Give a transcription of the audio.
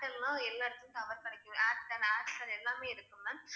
Airtel லாம் எல்லா இடத்திலும் tower கிடைக்குது Airtel, Aircel எல்லாமே இருக்கு ma'am